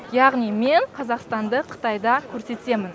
яғни мен қазақстанды қытайда көрсетемін